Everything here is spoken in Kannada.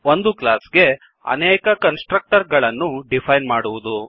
ಒಂದು ಕ್ಲಾಸ್ ಗೆ ಅನೇಕ ಕನ್ಸ್ ಟ್ರಕ್ಟರ್ ಗಳನ್ನು ಡಿಫೈನ್ ಮಾಡುವುದು